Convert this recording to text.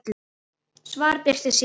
Svar birtist síðar.